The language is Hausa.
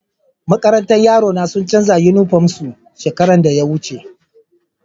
Makarantan yaro na sun chanza uniform na su shekaran da ya wuce.